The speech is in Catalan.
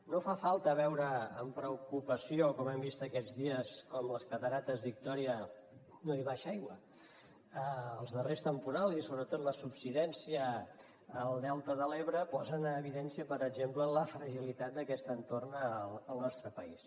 no fa falta veure amb preocupació com hem vist aquests dies com a les cascades victòria no hi baixa aigua els darrers temporals i sobretot la subsidència al delta de l’ebre posen en evidència per exemple la fragilitat d’aquest entorn al nostre país